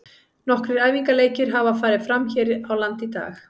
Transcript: Nokkrir æfingaleikir hafa farið fram hér á landi í dag.